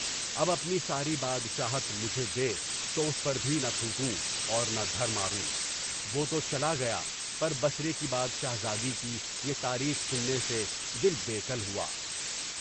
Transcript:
اب اپنی ساری بادشاہت مجھے دے، تو اس پر بھی نہ تھوکو اور نہ دھر ماروں، وہ تو چلا گیا، پر بسرے کی بادشاہزادی کی یہ تعریف سننے سے دل بے کل ہوا۔